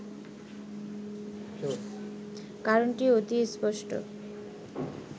কারণটি অতি স্পষ্ট